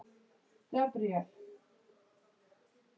Nefið íbjúgt.